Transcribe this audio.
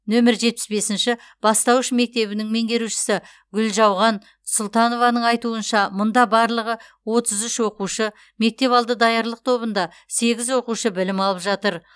нөмір жетпіс бесінші бастауыш мектебінің меңгерушісі гүлжауған сұлтанованың айтуынша мұнда барлығы отыз үш оқушы мектепалды даярлық тобында сегіз оқушы білім алып жатыр